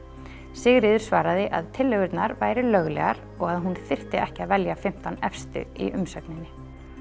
Sigríður svaraði að tillögurnar væru löglegar og að hún þyrfti ekki að velja fimmtán efstu í umsögninni